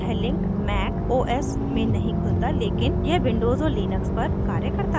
यह link mac os में नहीं खुलता लेकिन यह विंडोज़ और लिनक्स पर कार्य करता है